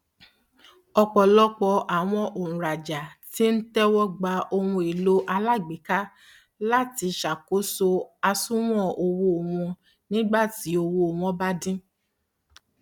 ọpọlọpọ àwọn òǹràjà tí ń tẹwọgba ohunèlò alágbéka láti ṣàkóso àsùwọn owó wọn nígbàtí ọwọ wọn bá dí